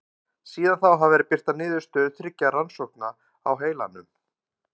Síðan þá hafa verið birtar niðurstöður þriggja rannsókna á heilanum.